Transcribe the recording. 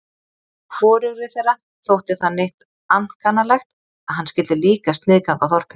Hvorugri þeirra þótti það neitt ankannalegt að hann skyldi líka sniðganga þorpið.